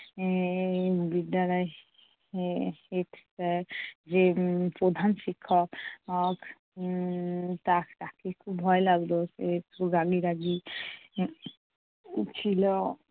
এর বিদ্যালয়ের এর head sir যে প্রধান শিক্ষক আহ উম তা~ তাকে খুব ভয় লাগতো। সে একটু রাগী রাগী ছিল।